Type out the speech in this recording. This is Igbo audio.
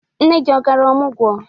Nne gị ọ gara ọmụgwọ?